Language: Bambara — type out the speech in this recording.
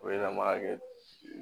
O ye an b'a kɛ